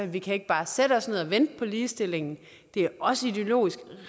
vi kan ikke bare sætte os ned og vente på ligestilling det er også ideologisk